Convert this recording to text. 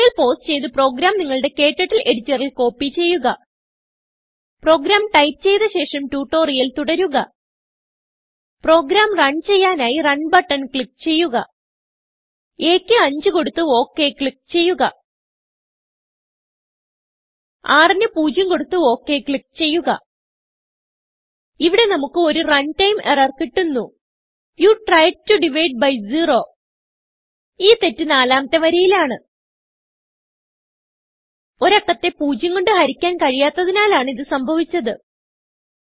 tutorial pause ചെയ്ത് program നിങ്ങളുടെ ക്ടർട്ടിൽ എഡിറ്ററിൽ കോപ്പി ചെയ്യുക പ്രോഗ്രാം ടൈപ്പ് ചെയ്ത ശേഷം ട്യൂട്ടോറിയൽ തുടരുക പ്രോഗ്രാം റൺ ചെയ്യാനായി Runബട്ടൺ ക്ലിക്ക് ചെയ്യുക aക്ക് 5 കൊടുത്ത് ok ക്ലിക്ക് ചെയ്യുക rന് 0 കൊടുത്ത് ok ക്ലിക്ക് ചെയ്യുക ഇവിടെ നമുക്ക് ഒരു റണ്ടൈം എറർ കിട്ടുന്നു you tried to divide by zero ഈ തെറ്റ് നാലാമത്തെ വരിയിലാണ് ഒരു അക്കത്തെ പൂജ്യം കൊണ്ട് ഹരിക്കാൻ കഴിയാത്തതിനാലാണ് ഇത് സംഭവിച്ചത്